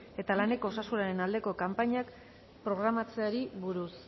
eta laneko osasunaren aldeko kanpainak programatzeari buruz